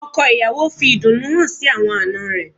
Ọkọ̀ ìyàwó fi ìdùnnú hàn sí àwọn àná rẹ̀